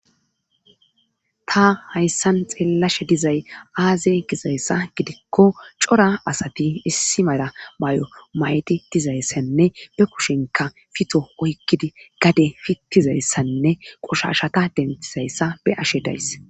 ta hayssan xeellashe dizay aaze gizayssa gidikko cora asati issi mala may7o may7di dizayssanne be kushinka fito oykkidi gade fittizayssanne qoshashata dentizayssa be ashe days